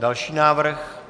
Další návrh.